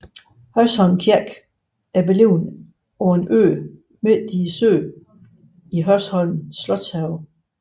Hørsholm Kirke er beliggende på en ø midt i søen i Hørsholm Slotshave